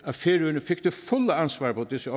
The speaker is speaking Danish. at færøerne fik det fulde ansvar på disse